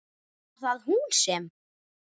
Var það hún sem.?